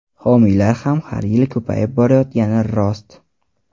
Homiylar ham har yili ko‘payib borayotgani rost.